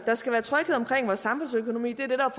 der skal være tryghed om vores samfundsøkonomi det er det der